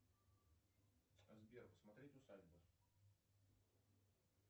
сбер посмотреть усадьбы